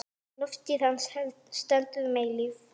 Lofstír hans stendur um eilífð.